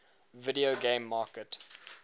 video game market